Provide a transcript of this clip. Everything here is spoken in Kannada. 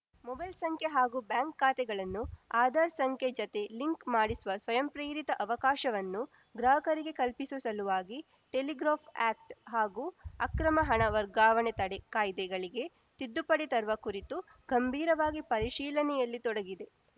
ಮೊಬೈಲ್‌ ಸಂಖ್ಯೆ ಹಾಗೂ ಬ್ಯಾಂಕ್‌ ಖಾತೆಗಳನ್ನು ಆಧಾರ್‌ ಸಂಖ್ಯೆ ಜತೆ ಲಿಂಕ್‌ ಮಾಡಿಸುವ ಸ್ವಯಂಪ್ರೇರಿತ ಅವಕಾಶವನ್ನು ಗ್ರಾಹಕರಿಗೆ ಕಲ್ಪಿಸುವ ಸಲುವಾಗಿ ಟೆಲಿಗ್ರಾಫ್‌ ಆ್ಯಕ್ಟ್ ಹಾಗೂ ಅಕ್ರಮ ಹಣ ವರ್ಗಾವಣೆ ತಡೆ ಕಾಯ್ದೆಗಳಿಗೆ ತಿದ್ದುಪಡಿ ತರುವ ಕುರಿತು ಗಂಭೀರವಾಗಿ ಪರಿಶೀಲನೆಯಲ್ಲಿ ತೊಡಗಿದೆ